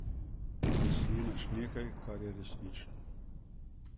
Ker snemaš nekaj, kar je resnično.